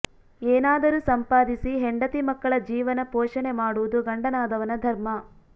ಏನಾದರೂ ಸಂಪಾದಿಸಿ ಹೆಂಡತಿ ಮಕ್ಕಳ ಜೀವನ ಪೋಷಣೆ ಮಾಡುವುದು ಗಂಡನಾದವನ ಧರ್ಮ